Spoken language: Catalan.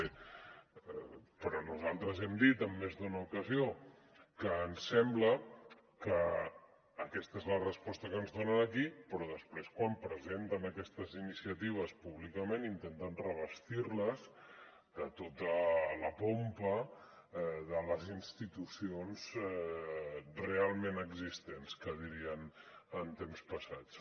bé però nosaltres hem dit en més d’una ocasió que ens sembla que aquesta és la resposta que ens donen aquí però després quan presenten aquestes iniciatives públicament intenten revestir les de tota la pompa de les institucions realment existents que dirien en temps passats